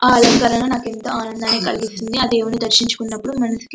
ఆ ఆలయం నాకెంతో ఆనందాన్ని కలిగిస్తుంది ఆ దేవుని దర్శించు కున్నపుడు మనసుకు--